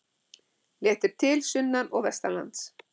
Léttir til sunnan og vestanlands